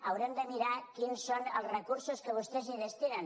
haurem de mirar quins són els recursos que vostès hi destinen